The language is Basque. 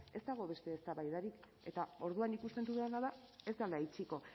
ez dago beste eztabaidarik eta orduan ikusten dudana da ez dela itxiko